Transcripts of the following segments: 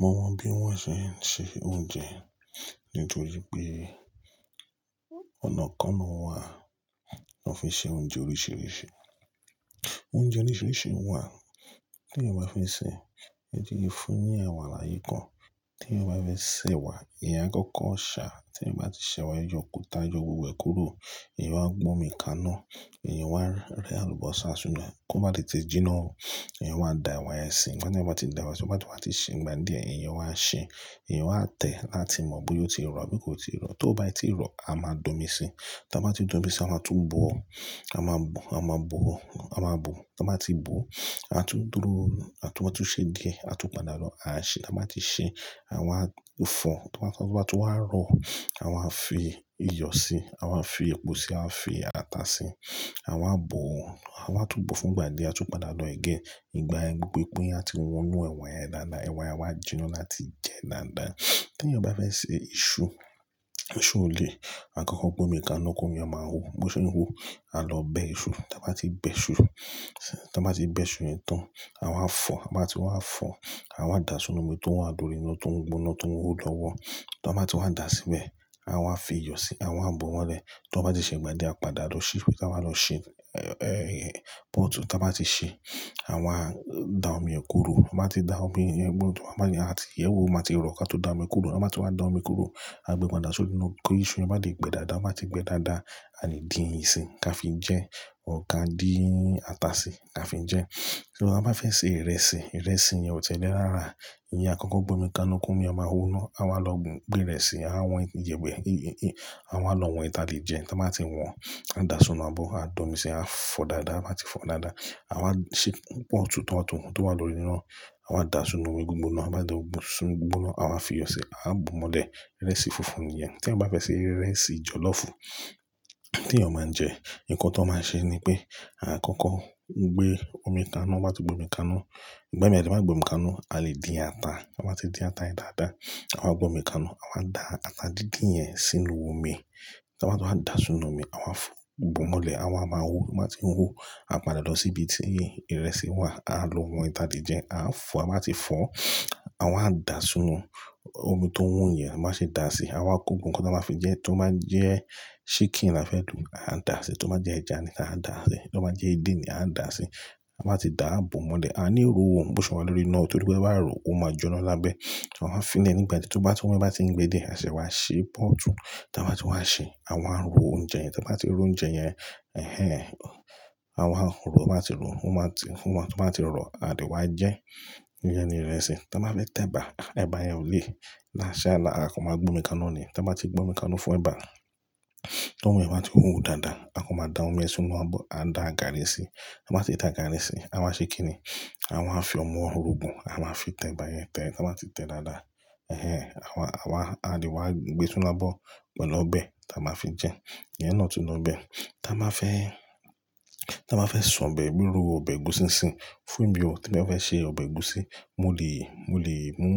Mo mọ bí wọ́n ṣe ń se oúnjẹ nítorí pé ọ̀nà kan náà wà, ní ó fi ṣe oúnjẹ oríṣìíríṣìí. Oúnjẹ oríṣìíríṣìí wà tí èèyàn bá fi ṣe, ẹjẹ́ kin fún yàn ẹ̀wà láyì kan, tí èèyàn bá fẹ́ sẹ̀ wà, èèyàn a kọ́kọ́ ṣà, tí èèyàn bá ti ṣẹ̀ wà, yọ òkúta, yọ gbogbo ẹ̀ kúrò, èèyàn wá gbé omi kaná, ìyẹn wá rẹ àlùbọ́sà siná, kó má tètè jí iná o, Èèyàn wá dà ẹ̀wà ẹsìn, tí èèyàn bá ti dà ẹ̀wà ẹsìn, tí èèyàn bá ti sè gbàdíẹ̀, èèyàn wá sè, eeyan wá tẹ̀ láti mọ bóyá ó ti rọ̀ tàbí kò ti rọ̀, tó bá ti rọ̀, a máa da omi sí, tí a bá ti da omi sí, a máa tún bò, a máa bò, a máa bò, a máa bò, tí a bá ti bò, a tún dúró, a tún ṣe ge, a tún padà lọ, a ṣe, a bá ti ṣe, à wá fọ̀, tí wọ́n bá ti wá rọ̀, à wá fi iyọ̀ sí, à wá fi epo sí, à wá fi ata sí, à wá bọ̀ọ́ à wá tún bò fún gbàdíẹ̀, a tún padà lọ ìgbà yẹn gbogbo epo yẹn á ti wọnú ẹ̀wà yẹn dáadáa, ẹ̀wà yẹn a wá jinná láti jẹ dáadáa. Tí èèyàn bá fẹ́ sè ìṣù, ìṣù ò le, a kọ́kọ́ gbómi kaná, kó ìyẹn máa hó, bó ṣe ń hó, a lọ bẹ ìṣù, tí a bá ti bẹ ìṣù, tí a bá ti bẹ ìṣù yẹn tán, à wá fọ̀, a bá ti wá fọ̀, à wá dà sínú omi tó wà lórí iná tó ń gbóná, tó ń wú lọ́wọ́. Tí wọ́n bá ti wá dà síbẹ̀, à wá fi iyọ̀ sí, à wá bò wọ́n rẹ, tí wọ́n bá ti ṣe gbàdíẹ̀, a padà lọ ṣí, pé kí à máa lọ ṣí, pọ́ọ̀tú a bá ti ṣe, à wá da omi kúrò, tí a bá ti da omi kúrò, tí wọ́n bá ní a ti yẹ̀wò, máa ti rọ̀ ká tó da omi kúrò, tí a bá ti wá da omi kúrò, a gbé padà sí inú iná, kó ìṣù ẹ bá lè gbẹ́ dáadáa, ó bá ti gbẹ dáadáa, a lè dín ì ṣín ká fi jẹ, ò ká dín ata sí ká fi jẹ. Tí a bá fẹ́ sè ìrẹsì, ìrẹsì yẹn ò ti lẹ́ rárá, ìyẹn a kọ́kọ́ gbómi kaná, kó ìyẹn máa hó iná, à wá lọ gbé ìrẹsì, à wọ́n yẹ̀wẹ̀, à wá lọ wọ́n èyí tí a lè jẹ, tí wọ́n bá ti wọ́n, à dà sínú abo, à domi si, à fọ dáadáa, a bá ti fọ dáadáa, à wá ṣí pọ́tù tí wọ́n tó wá lóri iná, à wá dà sínú omi gbígbóná, a bá dà sínú omi gbígbóná, à wá fi iyọ̀ sí, à bò wọ́n rẹ, ìrẹsì funfun nìyẹn. Tí a bá fẹ́ sè ìrẹsì jọ̀lọ́fù tí èèyàn máa ń jẹ, nǹkan tí wọ́n máa ń ṣe ni pé, a kọ́kọ́ gbé omi kaná, tí wọ́n bá ti gbé omi kaná, gbá mi ẹ ti bá ti gbé omi kaná, a lè dín ata, a bá ti dín ata yìí dáadáa, à wá gbómi kaná, à wá da ata jíjìn yẹn sínú omi, tí wọ́n bá ti wá dà sínú omi, à wá fọ, bò wọ́n rẹ, à wá máa gó, a bá ti hó, a padà lọ sí ibi tí ìrẹsì wà, à lọ wọ́n èyí tí a lè jẹ, à fọ, a bá ti fọ, à wá dà sínú omi tó ń hóyẹn, a máa ṣe dà sí, à wá kó gbogbo nǹkan tí a máa fi jẹ, tó bá jẹ ṣíkìn là fẹ́ lò, à dà sí, tó bá jẹ ẹja nì, à dà sí, tó bá jẹ edé ni, à dà sí. A bá ti dà, a bò mọ́lẹ̀, a ní ro òun bó ṣe wọ́n lóri iná, torí bó bá ro, ó máa jinná lábẹ́, à wá fi lénì gbàdíẹ̀, tí wọ́n bá ti ń gbe díẹ̀, a sì wá ṣe pọ́ọ̀tù, tí a bá ti wá ṣe, à wá ro oúnjẹ yẹn, tí a bá ti ro oúnjẹ yẹn, à wá ro, a bá ti ro, a má ti wọ́n, a bá ti rọ̀, a sì wá jẹ, ìyẹn ni ìrẹsì. Tí a bá fẹ́ tẹ̀ba, ẹ̀bà yẹn ò le, làṣẹ là, a kọ́ máa gbómi kaná ni, tí a bá ti gbómi kaná fún ẹ̀bà, tí omi yẹn bá ti wú dáadáa, a kọ́ máa da omi sínú abo, à da gàárì sí, a bá ti da gàárì sí, à wá ṣe kí ni? À wá fi ọmọ orogùn, à wa fi tẹ̀ba yẹn tẹ̀, tí wọ́n bá ti tẹ̀ dáadáa, à wá, à wá, a lè wá gbé sínú abo pẹ̀lú ọbẹ̀ tí a máa fi jẹ, ìyẹn náà tún lọ bẹẹ Tí a bá fẹ́, tí a bá fẹ́ ṣàn bẹ̀ bírú, ọbẹ̀ ẹ̀gúsí sin sin, fún ìgbà ọ, tí ẹ̀ fẹ́ ṣe ọbẹ̀ ẹ̀gúsí, mo lè, mo lè mú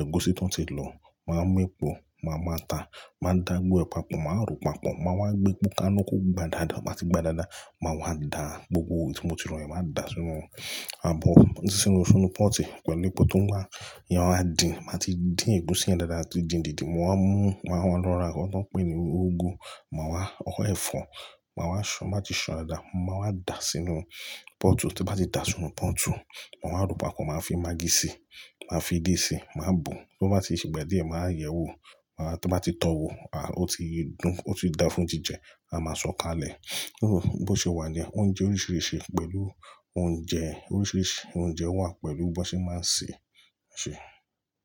ẹ̀gúsí tó ti lò, màá mú epo, màá máa ata, màá dà á gbogbo pa pọ̀, màá ro pa pọ̀, mà wá gbé epo kaná kó gba dáadáa, tí wọ́n bá ti gba dáadáa, mà wá dà gbogbo ètò tí mo ti rò yẹn, mà dà sínú abo tí ó sí nínú sínú púùtù pẹ̀lú epo tó ń wá, ìyẹn wá dín, tí wọ́n bá ti dín ẹ̀gúsí yẹn dáadáa, di jìn díjìn, mo wá mú, mà wá lọ ra nǹkan tí wọ́n pè ní úgú, mà wá rọ ẹ̀fọ́, mà wá ṣàn, mà ti san dáadáa, mà wá dà sínú púùtù, tí wọ́n bá ti dà sínú púùtù, mà wá ro pa pọ̀n, màá fi magí sí, màá fi edé sí, màá bò, bó bá ti ṣe gbàdíẹ̀, màá yẹ̀wò, tí wọ́n bá ti tó wò, a, ó ti dùn, ó ti dà fún jíjẹ, a máa sòó kalẹ̀ Bó ṣe wà ni, oúnjẹ oríṣìíríṣìí pẹ̀lú oúnjẹ oríṣìíríṣìí, oúnjẹ wà pẹ̀lú bó ṣe máa ń sè, ṣe.